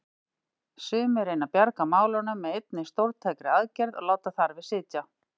Sumir reyna að bjarga málunum með einni stórtækri aðgerð og láta þar við sitja.